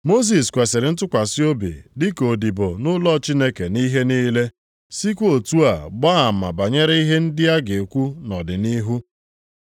Mosis kwesiri ntụkwasị obi dịka odibo nʼụlọ Chineke nʼihe niile, + 3:5 \+xt Ọnụ 12:7\+xt* sịkwa otu a gbaa ama banyere ihe ndị a ga-ekwu nʼọdịnihu.